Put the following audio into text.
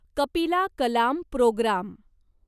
Kapila Kalam programme